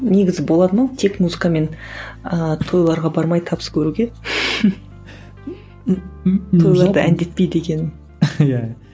негізі болады ма тек музыкамен ыыы тойларға бармай табыс көруге тойларда әндетпей дегенім иә